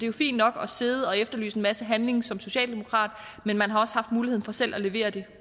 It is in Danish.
jo fint nok at sidde og efterlyse en masse handling som socialdemokrat men man har også haft muligheden for selv at levere det